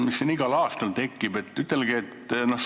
Mul on küsimus, mis tekib siin igal aastal.